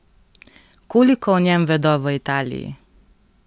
Koliko o njem vedo v Italiji?